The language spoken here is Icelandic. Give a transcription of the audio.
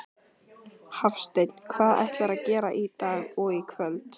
Hafsteinn: Hvað ætlarðu að gera í dag og í kvöld?